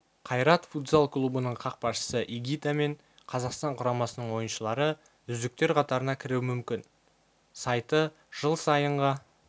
қайрат футзал клубының қақпашысы игита мен қазақстан құрамасының ойыншылары үздіктер қатарына кіруі мүмкін сайты жыл сайынғы